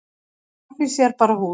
grafhýsi er bara hús